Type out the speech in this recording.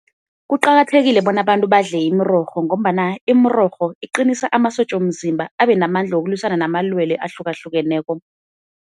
Kuqakathekile bona abantu badle imirorho ngombana imirorho iqinisa amasotja womzimba abe namandla wokulwisana namalwelwe ahlukahlukeneko.